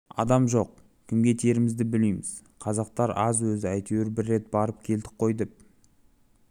адам жоқ кімге тиерімізді білмейміз қазақтар аз өзі әйтеуір бір рет барып келдік қой деп